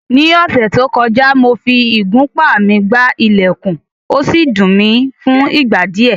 Ní ọ̀sẹ̀ tó kọjá, mo fi ìgúnpá mi gbá ilẹ̀kùn, ó sì dùn mi fún ìgbà díẹ̀